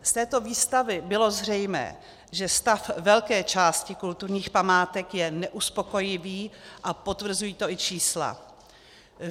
Z této výstavy bylo zřejmé, že stav velké části kulturních památek je neuspokojivý, a potvrzují to i čísla.